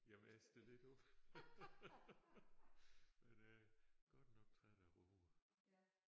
Jamen jeg stiller ikke op men jeg er godt nok træt af råger